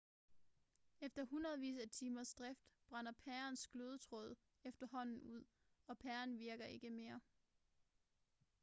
efter hundredvis af timers drift brænder pærens glødetråd efterhånden ud og pæren virker ikke mere